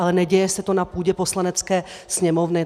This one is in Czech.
Ale neděje se to na půdě Poslanecké sněmovny.